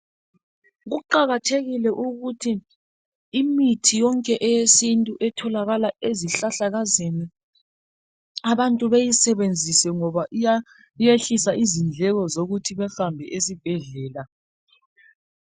Kuqakathekile ukuthi imithi yonke yesintu etholakala ezihlahlakazeni abantu beyisebenzise ngoba iyehlisa izindleko zokuthi behambe esibhedlela